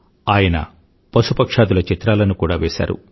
ఆయన పశుపక్ష్యాదుల చిత్రాలను కూడా వేశారు